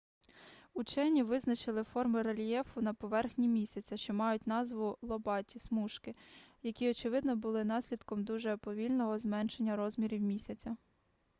учені визначили форми рельєфу на поверхні місяця що мають назву лобаті смужки які очевидно були наслідком дуже повільного зменшення розмірів місяця